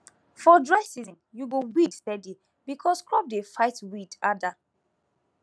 for dry season you go weed steady because crop dey fight weed harder